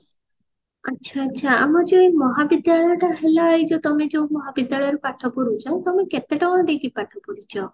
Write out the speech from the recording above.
ଆଛା ଆଛା ଆମର ଯୋଉ ମହାବିଦ୍ୟାଳୟ ଟା ହେଲା ଏ ଯୋଉ ତମେ ଯୋଉ ମହାବିଦ୍ୟାଳଏ ରେ ପାଠ ପଢୁଛ ତମେ କେତେ ଟଙ୍କା ଦେଇକି ପାଠ ପଢିଛ